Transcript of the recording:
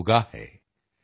ਆਸਮਾਨ ਮੇਂ ਸਿਰ ਉਠਾ ਕਰ